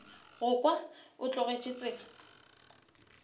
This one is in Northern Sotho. go kwa o tlogetše tsela